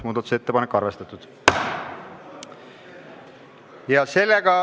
Muudatusettepanekut on arvestatud.